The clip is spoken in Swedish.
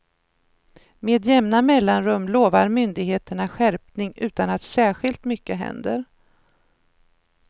Med jämna mellanrum lovar myndigheterna skärpning utan att särskilt mycket händer.